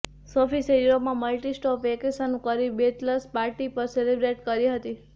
સોફીસે યુરોપમાં multistop vacation કરી bachelors party પણ સેલિબ્રેટ કરી હતી